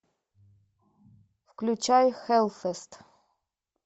включай хэллфест